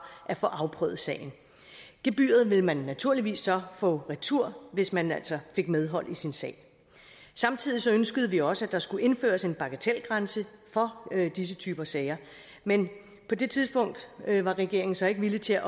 at få afprøvet sagen gebyret ville man naturligvis så få retur hvis man altså fik medhold i sin sag samtidig ønskede vi også at der skulle indføres en bagatelgrænse for disse typer sager men på det tidspunkt var regeringen så ikke villig til